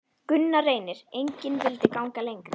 Gunnar Reynir: Engin vildi ganga lengra?